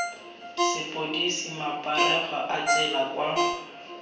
sepodisi maparego a tsela kwa